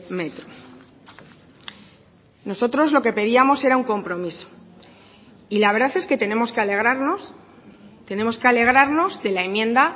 metro nosotros lo que pedíamos era un compromiso y la verdad es que tenemos que alegrarnos tenemos que alegrarnos de la enmienda